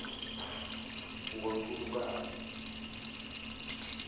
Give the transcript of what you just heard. ngontulukazi